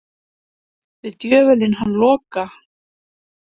Við djöfulinn hann Loka.